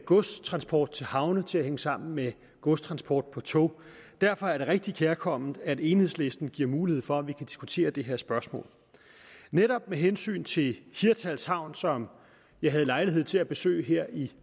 godstransport til havne til at hænge sammen med godstransport på tog derfor er det rigtig kærkomment at enhedslisten giver mulighed for at vi kan diskutere det her spørgsmål netop med hensyn til hirtshals havn som jeg havde lejlighed til at besøge her i